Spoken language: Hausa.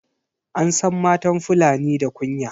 An san matan fulani da kunya